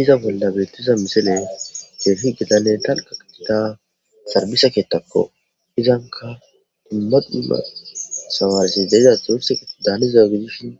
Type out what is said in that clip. Iza bolla beeththiza misile keehi gidannekka sarbise keeththakko; izanka dumma dumma thamaarethi de7iza thimirththe daaniza gidishin